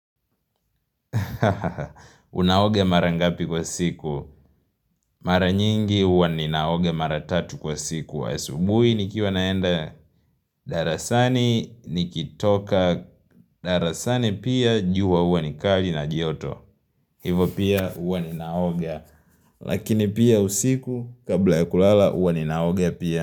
Unaoga mara ngapi kwa siku. Mara nyingi huwa ninaoga mara tatu kwa siku. Asubuhi nikiwa naenda. Darasani nikitoka. Darasani pia jua huwa ni kali na joto. Hivo pia huwa ninaoga. Lakini pia usiku kabla ya kulala huwa ninaoga pia.